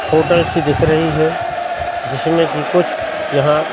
hotel सी दिख रही है जिसमें की कुछ यहां--